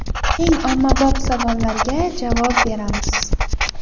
Eng ommabop savollarga javob beramiz.